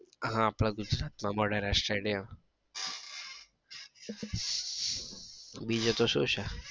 હા આપડા ગુજરાત માં મોઢેરા stadium બીજું તો શું છે.